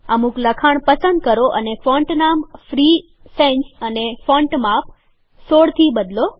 અમુક લખાણ પસંદ કરો અને ફોન્ટ નામ ફ્રી સેન્સ અને ફોન્ટ માપ ૧૬ થી બદલો